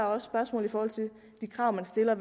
også spørgsmål i forhold til de krav man stiller